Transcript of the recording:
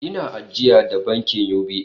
Ina ajiya da bankin UBA